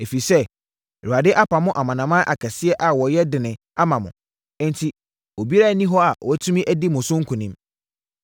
“Ɛfiri sɛ, Awurade apamo amanaman akɛseɛ a wɔyɛ dene ama mo, enti obiara nni hɔ a watumi adi mo so nkonim.